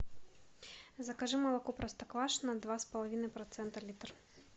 закажи молоко простоквашино два с половиной процента литр